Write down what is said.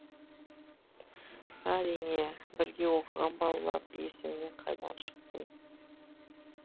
әрине бірге оқыған балалар есіңнен қайдан шықсын